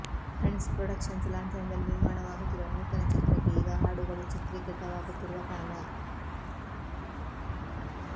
friends Productions ಲಾಂಛನದಲ್ಲಿ ನಿರ್ಮಾಣವಾಗುತ್ತಿರುವ ನೂತನಚಿತ್ರಕ್ಕೆ ಈಗ ಹಾಡುಗಳು ಚಿತ್ರೀಕೃತವಾಗುತ್ತಿರುವ ಕಾಲ